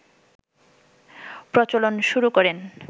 প্রচলন শুরু করেন